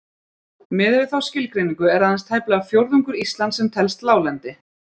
Miðað við þá skilgreiningu er aðeins tæplega fjórðungur Íslands sem telst láglendi.